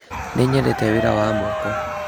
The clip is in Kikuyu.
Nĩ nyendete wĩra Wa moko.